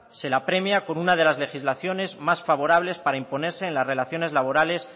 se la premia con una de las legislaciones más favorables para imponerse en las relaciones laborales